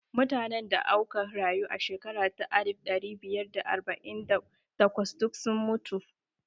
Mutanen da auka rayu a shekara ta alif ɗari biyar da arba'in da takwas duk sun mutu